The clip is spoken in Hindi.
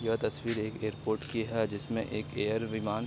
यह तस्वीर एक एयरपोर्ट की है जिसमे एक एयर विमान --